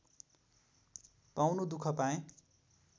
पाउनु दुख पाएँ